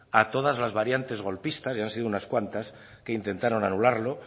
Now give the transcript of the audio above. a todas las variantes golpistas y han sido unas cuantas que intentaron anularlo